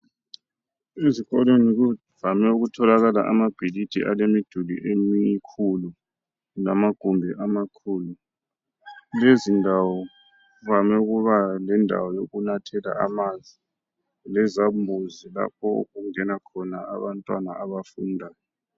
Ezikolweni kuvame ukutholakala amabhilidi alemiduli emikhulu lamagumbi amakhulu .Lezi ndawo kuvame ukuba lendawo yokunathela amanzi lezambuzi lapho okungena khona abantwana abafundayo .